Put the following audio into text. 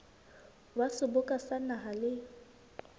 wa seboka sa naha le